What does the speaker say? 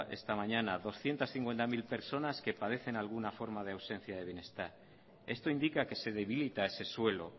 esta mañana de doscientos cincuenta mil personas que padecen alguna forma de ausencia de bienestar esto indica que se debilita ese suelo